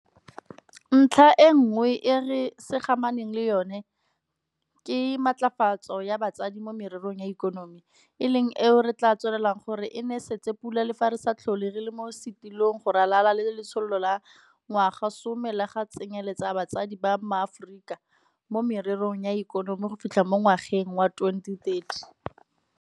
Ntlha e nngwe e re samaganeng le yona ke matlafatso ya basadi mo mererong ya ikonomi, e leng eo re tla tswelelang go e nesetsa pula le fa re sa tlhole re le mo setilong go ralala le Letsholo la Ngwagasome la go Tsenyeletsa Basadi ba MaAforika mo Mererong ya Ikonomi go fitlha mo ngwageng wa 2030.